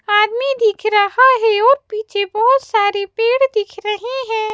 आदमी दिख रहा है और पीछे बहोत सारे पेड़ दिख रहे हैं।